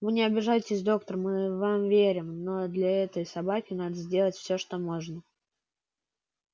вы не обижайтесь доктор мы вам верим но для этой собаки надо сделать все что можно